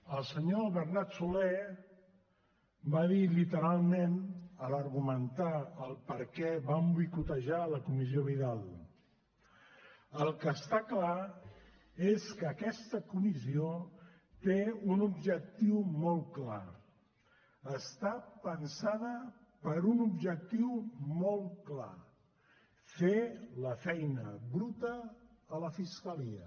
el senyor bernat solé va dir literalment a l’argumentar per què van boicotejar la comissió vidal el que està clar és que aquesta comissió té un objectiu molt clar està pensada per a un objectiu molt clar fer la feina bruta a la fiscalia